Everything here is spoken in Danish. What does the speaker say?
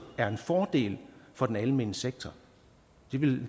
er en fordel for den almene sektor det ville